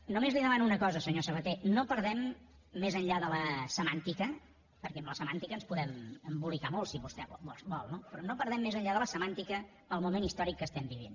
només li demano una cosa senyor sabaté no perdem més enllà de la semàntica perquè amb la semàntica ens podem embolicar molt si vostè vol no però no perdem més enllà de la semàntica el moment històric que estem vivint